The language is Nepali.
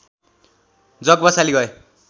जग बसाली गए